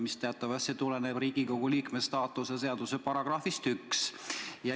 See teatavasti tuleneb Riigikogu liikme staatuse seaduse §-st 1.